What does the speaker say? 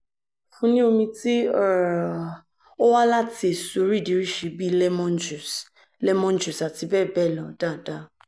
fun ni omi ti um owa lati eso oridirisi bi lemon juice lemon juice ati bẹẹ bẹẹ lo daadaa